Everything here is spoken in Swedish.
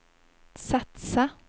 satsa